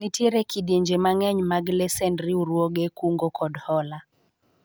nitiere kidienje mang'eny mag lesend riwruoge kungo kod hola